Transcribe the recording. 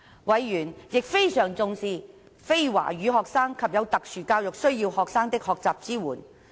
委員亦非常重視非華語學生及有特殊教育需要學生的學習支援。